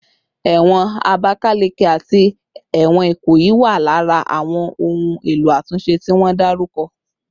Ewon Abakaleke ati ewon Ikoyi wa lara awon ohun elo atunse ti won daruko